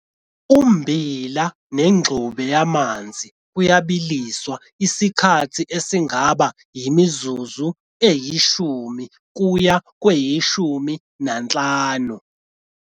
Ummbila nengxube yamanzi kuyabiliswa isikhathi esingaba yimizuzu eyi-10 kuya kweyi-15.